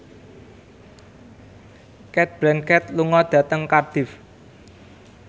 Cate Blanchett lunga dhateng Cardiff